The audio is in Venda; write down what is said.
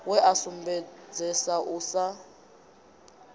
we a sumbedzesa u sa